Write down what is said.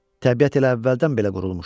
Təbiət elə əvvəldən belə qurulmuşdu.